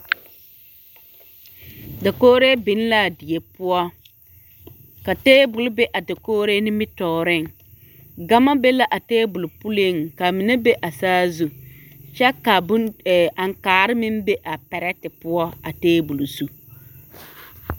Dakogri biŋ la a die poɔ ka tabol be a dakogri nimitɔɔreŋ gama be la a tabol puliŋ ka a mine be a saazu kyɛ ka aŋkaare meŋ be a pɛrete poɔ a tabol zu.